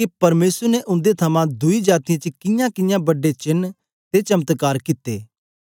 के परमेसर ने उन्दे थमां दुई जातीयें च कियांकियां बड्डे चेन्न ते चमत्कार कित्ते